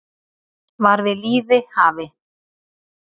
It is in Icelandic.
var við lýði hafi